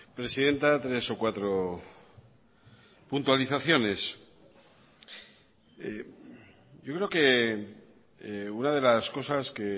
presidenta tres o cuatro puntualizaciones yo creo que una de las cosas que